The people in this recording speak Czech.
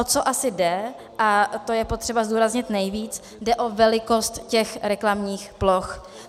O co asi jde, a to je potřeba zdůraznit nejvíc, jde o velikost těch reklamních ploch.